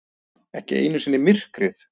Ekki einu sinni myrkrið.